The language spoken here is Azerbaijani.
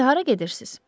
İndi hara gedirsiz?